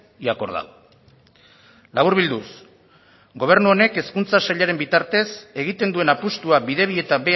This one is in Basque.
y acordado laburbilduz gobernu honek hezkuntza sailaren bitartez egiten duen apustua bidebieta